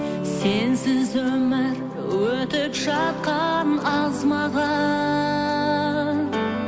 сенсіз өмір өтіп жатқан аз маған